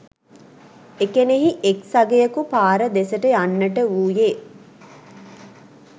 එකෙනෙහි එක්‌ සගයකු පාර දෙසට යන්නට වූයේ